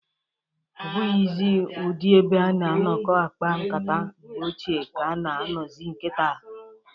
Ọbụghịzị ụdị ebe a na-anọkọ akpa nkata mgbe ochie ka a na anọzị kịta.